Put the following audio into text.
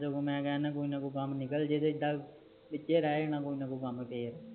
ਕੋਈ ਕਮ ਨਿਕਲ ਜੇ ਨਹੀਂ ਵਿਚੇ ਰਹ ਜਨਾ ਕੋਈ ਨਾ ਕੋਈ ਕੱਮ ਫੇਰ